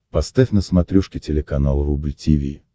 поставь на смотрешке телеканал рубль ти ви